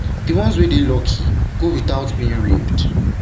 di ones wey dey lucky go out without being raped